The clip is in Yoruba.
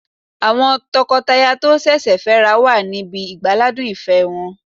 Àwọn tọkọtaya tó sẹ̀sẹ̀ fẹ́ ra wọn wà níbi ìgbáládùn ìfẹ́ wọn